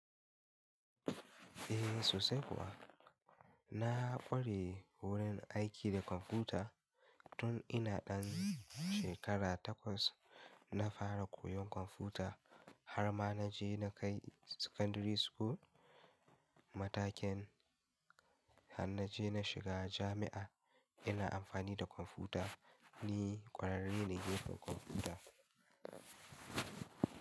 Eh sosai kuwa. Na ƙware wurin aiki da kwamfuta tun ina ɗan shekara takwas. Na fara koyon kwamfuta har ma na je na kai secondari school matakin har na je na shiga jami'a ina amfani da kwamfuta. Ni ƙwararre ne gefen kwamfuta.